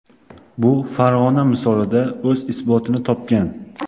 Bu Farg‘ona misolida o‘z isbotini topgan.